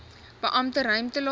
beperkte ruimte laat